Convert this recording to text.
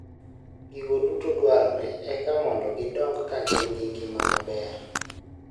Gigo duto dwarore eka mondo gidong ka gin gi ngima maber.